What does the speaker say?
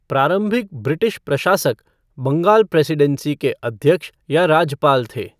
प्रारंभिक ब्रिटिश प्रशासक बंगाल प्रेसीडेंसी के अध्यक्ष या राज्यपाल थे।